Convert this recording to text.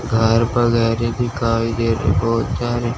घर वगैरह दिखाई दे रहे हैं बहोत सारे--